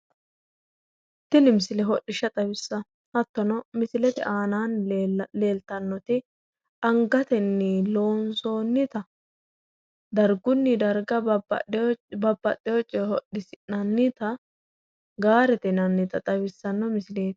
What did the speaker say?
Tini misile hodhishsha xawissanno. Hattono misilete aanaanni leeltannoti angatenni loonsoonnita dargunni darga babbaxxewo uduunne hodhisi'nannita gaarete yinannita leellishshanno misileeti.